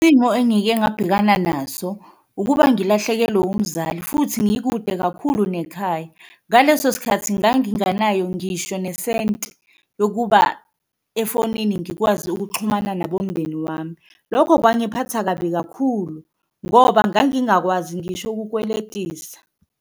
Isimo engike ngabhekana naso ukuba ngilahlekelwe umzali futhi ngikude kakhulu nekhaya, ngaleso sikhathi nganginganayo ngisho nesenti yokuba efonini ngikwazi ukuxhumana nabomndeni wami. Lokho kwangiphatha kabi kakhulu ngoba ngangingakwazi ngisho okukweletisa.